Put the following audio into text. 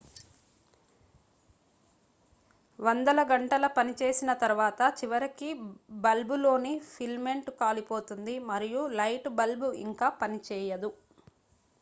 వందల గంటల పనిచేసిన తరువాత చివరికి బల్బ్లోని ఫిలమెంట్ కాలిపోతుంది మరియు లైట్ బల్బ్ ఇంక పనిచేయదు